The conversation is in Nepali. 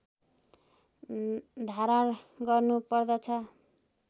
धारण गर्नुपर्दछ